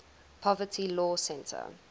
poverty law center